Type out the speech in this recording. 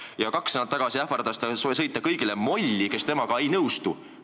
Ja kaks nädalat tagasi ähvardas ta sõita molli kõigile, kes temaga ei nõustu.